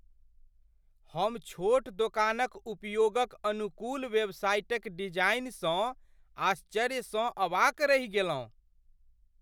हम छोट दोकानक उपयोगक अनुकूल वेबसाइटक डिजाइनसँ आश्चर्यसँ अवाक रहि गेलहुँ।